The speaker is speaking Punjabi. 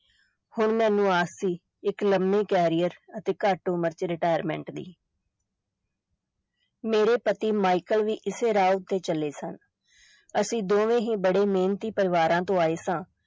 ਹੁਣ ਮੈਨੂੰ ਆਸ ਸੀ ਇਕ ਲੰਮੇ career ਅਤੇ ਘਟ ਉਮਰ ਚ retirement ਦੀ ਮੇਰੇ ਪਤੀ ਮਾਇਕਲ ਵੀ ਇਸੇ ਰਾਹ ਤੇ ਚਲੇ ਸਨ ਅਸੀਂ ਦੋਵੇਂ ਹੀ ਬੜੇ ਮਿਹਨਤੀ ਪਰਿਵਾਰਾਂ ਤੋਂ ਆਏ ਸਾਂ।